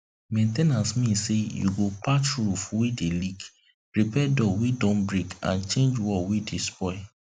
main ten ance mean say you go patch roof wey dey leak repair door wey don break and change wall wey don spoil